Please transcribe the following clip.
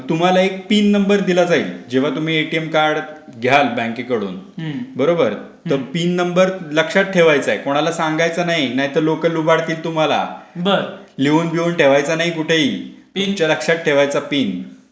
मग तुम्हाला एक पिन नंबर दिला जाईल. जेव्हा तुम्ही एटीएम कार्ड घ्याल बँकेकडून. बरोबर ! पिन नंबर लक्षात ठेवायचाय कोणाला सांगायचं नाही. नाहीतर लोकं लुबाडतील तुम्हाला. लिहून बिहून ठेवायचा नाही कुठेही. पिन लक्षात ठेवायचं पिन.